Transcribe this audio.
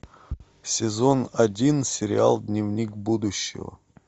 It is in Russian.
сезон один сериал дневник будущего